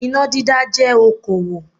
Iná dídá jẹ́ okòwò